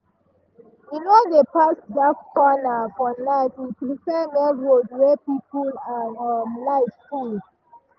e no dey pass dark corner for night; e prefer main road wey people and um light full.